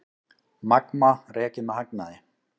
Magma rekið með hagnaði